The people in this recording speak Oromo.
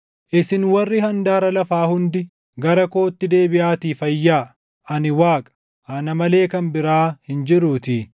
“Isin warri handaara lafaa hundi, gara kootti deebiʼaatii fayyaa; ani Waaqa; ana malee kan biraa hin jiruutii.